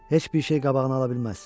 Heç bir şey qabağını ala bilməz.